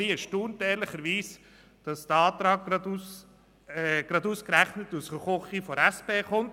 Ich bin ehrlicherweise erstaunt, dass dieser Antrag aus der «Küche» der SP stammt.